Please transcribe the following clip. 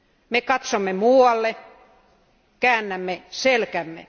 Me katsomme muualle, käännämme selkämme.